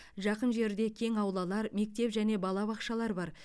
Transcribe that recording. жақын жерде кең аулалар мектеп және балабақшалар бар